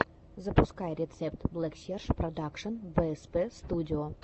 запускай рецепт блэксерж продакшен бээспэ студио